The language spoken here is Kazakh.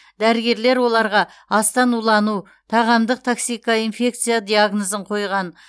дәрігерлер оларға астан улану тағамдық токсикоинфекция диагнозын қойған